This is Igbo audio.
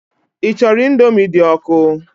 Ị chọrọ Indomi dị ọkụ?